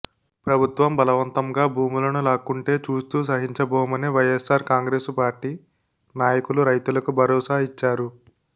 ప్రభుత్వం బలవంతంగా భూములను లాక్కుంటే చూస్తూ సహించబోమని వైయస్సార్ కాంగ్రెసు పార్టీ నాయకులు రైతులకు భరోసా ఇచ్చారు